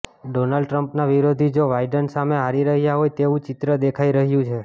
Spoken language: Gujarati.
ડોનાલ્ડ ટ્રમ્પના વિરોધી જો વાઈડન સામે હારી રહ્યા હોય તેવું ચિત્ર દેખાઈ રહ્યું છે